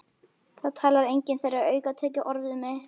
Það talar enginn þeirra aukatekið orð við mig.